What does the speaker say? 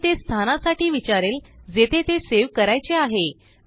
पुढे तेस्थानासाठी विचारेल जेथे तेसेव करायचे आहे